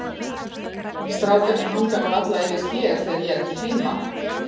Strákarnir hanga nú varla yfir þér þegar ég er ekki heima.